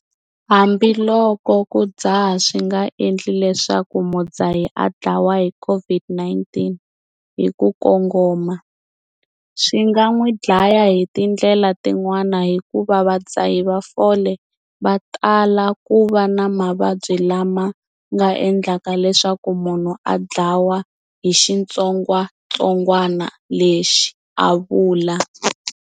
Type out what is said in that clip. Hambiloko ku dzaha swi nga endli leswaku mudzahi a dlawa hi COVID-19 hi ku kongoma, swi nga n'wi dlaya hi tindlela tin'wana hikuva vadzahi va fole va tala ku va na mavabyi lama nga endlaka leswaku munhu a dlawa hi xitsongwantsongwana lexi, a vula.